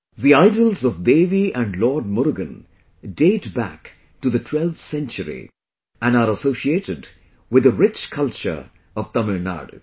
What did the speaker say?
The idols of Devi and Lord Murugan date back to the 12th century and are associated with the rich culture of Tamil Nadu